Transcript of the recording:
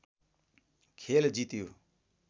खेल जित्यो